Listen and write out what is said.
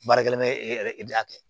Baarakɛla bɛ e yɛrɛ e de a kɛ